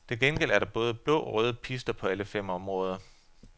Til gengæld er der både blå og røde pister på alle fem områder.